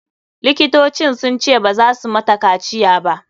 Likitocin sun ce baza su mata kaciya ba.